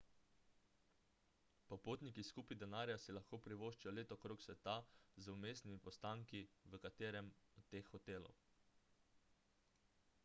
popotniki s kupi denarja si lahko privoščijo let okrog sveta z vmesnimi postanki v katerem od teh hotelov